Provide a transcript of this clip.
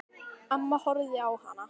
Amma horfði á hana.